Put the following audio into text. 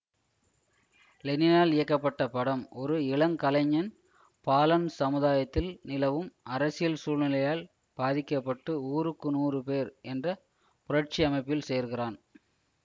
லெனினால் இயக்கப்பட்ட படம் ஒரு இளங்கலைஞன் பாலன் சமுதாயத்தில் நிலவும் அரசியல் சூழ்நிலையால் பாதிக்க பட்டு ஊருக்கு நூறு பேர் என்ற புரட்சி அமைப்பில் சேர்கிறான்